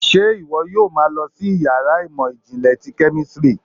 ṣe iwọ yóò má lọ sí iyàrá ìmọ jinle tí kemistri?